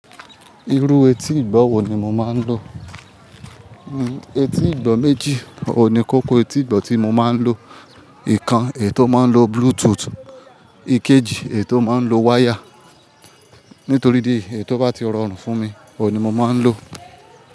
Irú etí ìgbọ̀ wo ni mo máa ń lo? Etí ìgbọ̀ méjì ohun ní kókó etí ìgbọ̀ tí mo máa ń lo. Ìkan èyi tò máa ń lo Bluetooth, ìkejì èyi tò máa ń lo wáyà. Nítorí idí èyi èyi tò bá ti rọrùn fún mi, òhun ní mo máa ń lò ó.